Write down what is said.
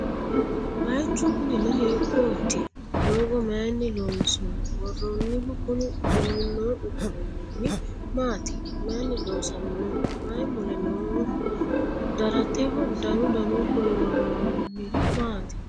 Baayichu kuninno hiikkotti? doogo mayiinni loonsoonni? Woroonnihu Kuni duunno uduunni maattiya? Mayiinni loosamminno? Mayi mule nooho? Daratteho danu danunkunni woroonniri maati?